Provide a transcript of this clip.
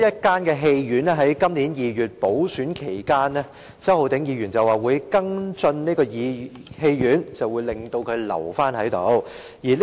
在今年2月的補選期間，周浩鼎議員表示會跟進東涌唯一一間戲院，令它得以保存。